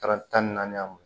Taara tan ni naani